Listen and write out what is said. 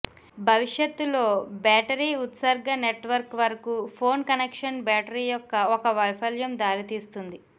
భవిష్యత్తులో బ్యాటరీ ఉత్సర్గ నెట్వర్క్ వరకు ఫోన్ కనెక్షన్ బ్యాటరీ యొక్క ఒక వైఫల్యం దారితీస్తుంది